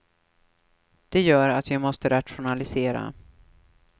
Det gör att vi måste rationalisera.